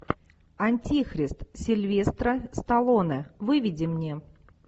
антихрист сильвестра сталлоне выведи мне